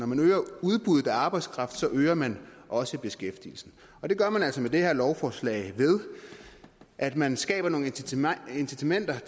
man øger udbuddet af arbejdskraft så øger man også beskæftigelsen og det gør man altså med det her lovforslag ved at man skaber nogle incitamenter